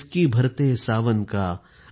सिसकी भरते सावन का